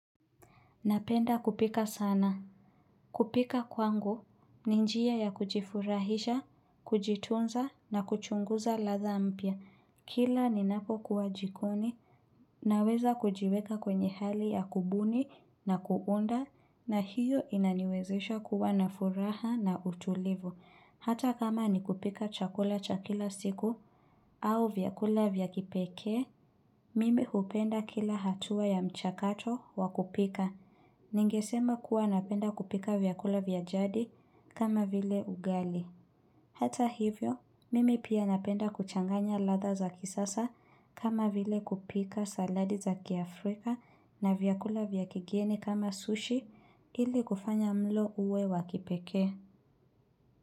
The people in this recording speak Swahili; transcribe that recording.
Napenda kupika sana. Kupika kwangu, ni njia ya kujifurahisha, kujitunza na kuchunguza ladha mpya. Kila ninapokuwa jikoni, naweza kujiweka kwenye hali ya kubuni na kuunda, na hiyo inaniwezisha kuwa na furaha na utulivu. Hata kama nikupika chakula cha kila siku, au vyakula vya kipeke, mimi hupenda kila hatua ya mchakato wa kupika. Ningesema kuwa napenda kupika vyakula vya jadi kama vile ugali. Hata hivyo, mimi pia napenda kuchanganya ladha za kisasa kama vile kupika saladi za kiafrika na vyakula vya kigieni kama sushi ili kufanya mlo uwe wa kipeke.